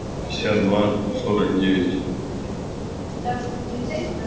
сейчас два сорок девять